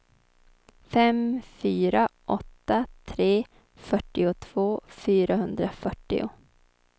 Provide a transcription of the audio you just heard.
fem fyra åtta tre fyrtiotvå fyrahundrafyrtio